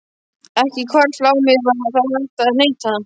Ekki hvarflaði að mér að hægt væri að neita.